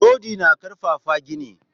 Rodi na karfafa gini